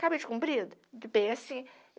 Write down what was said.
Cabide comprido, que tem assim.